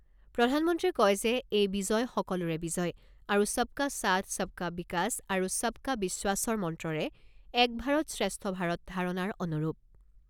প্ৰধানমন্ত্ৰীয়ে কয় যে, এই বিজয় সকলোৰে বিজয় আৰু সবকা সাথ সবকা বিকাশ আৰু সবকা বিশ্বাসৰ মন্ত্ৰৰে এক ভাৰত শ্ৰেষ্ঠ ভাৰত ধাৰণাৰ অনুৰূপ।